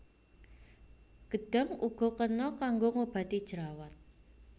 Gedhang uga kena kanggo ngobati jerawat